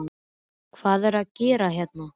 Hvað er ég að gera hérna?